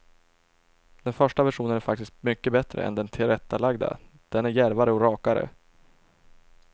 Den första versionen är faktiskt mycket bättre än den tillrättalagda, den är djärvare och rakare.